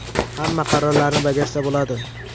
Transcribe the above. Hamma qarorlarni bajarsa bo‘ladi.